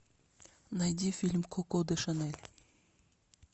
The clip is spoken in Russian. найти фильм коко де шанель